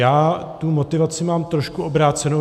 Já tu motivaci mám trošku obrácenou.